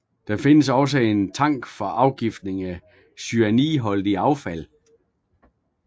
Der findes også en tank for afgiftning af cyanidholdigt affald